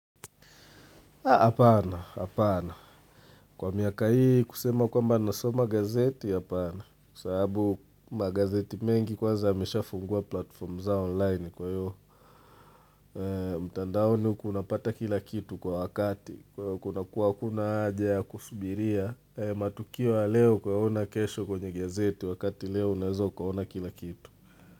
Apana, apana. Kwa miaka hii kusema kwamba nasoma gazeti, apana. Kwa sababu magazeti mengi kwanza yamesha fungua platform za online kwa hivo. Mtandaoni unapata kila kitu kwa wakati. Kuna kuwa kuna haja ya kusubiria matukio ya leo kuwa yaona kesho kwenye gazeti wakati leo unaeza ukaona kila kitu.